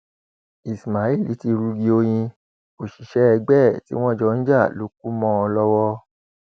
ismail ti rugi oyin òṣìṣẹ ẹgbẹ ẹ tí wọn jọ ń jà ló kù mọ ọn lọwọ